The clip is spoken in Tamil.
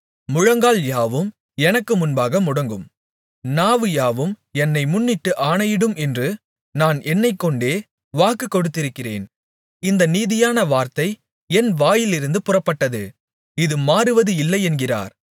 முழங்கால் யாவும் எனக்கு முன்பாக முடங்கும் நாவு யாவும் என்னை முன்னிட்டு ஆணையிடும் என்று நான் என்னைக்கொண்டே வாக்குக் கொடுத்திருக்கிறேன் இந்த நீதியான வார்த்தை என் வாயிலிருந்து புறப்பட்டது இது மாறுவது இல்லையென்கிறார்